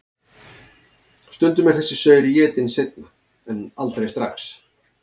Stundum er þessi saur étinn seinna en aldrei strax.